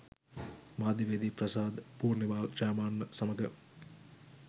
මාධ්‍යවේදී ප්‍රසාද් පූර්නිමාල් ජයමාන්න සමඟ